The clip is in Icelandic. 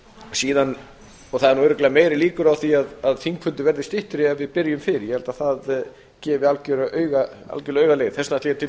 það eru nú örugglega meiri líkur á því að þingfundir verði styttri ef við byrjum fyrr ég held að það gefi algjörlega auga leið þess vegna ætla ég til